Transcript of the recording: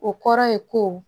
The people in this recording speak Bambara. O kɔrɔ ye ko